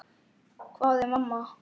hváði mamma.